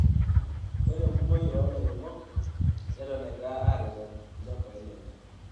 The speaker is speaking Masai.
Ore enkumoi oo lairemok neton egira aareten ilchambai lenye.